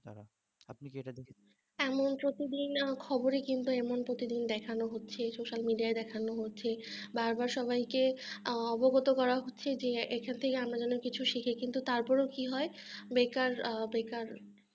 এমন প্রতিদিন খবরে কিন্তু এমন প্রতিদিন দেখানো হচ্ছে social media য় দেখানো হচ্ছে বার বার সবাইকে অবগত করা হচ্ছে যে এখান থেকে আমরা যেন কিছু শিখি কিন্তু তারপরেও কি হয় বেকার বেকার